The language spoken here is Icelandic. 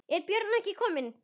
Er Björn ekki kominn?